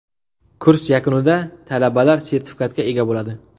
Kurs yakunida talabalar sertifikatga ega bo‘ladi.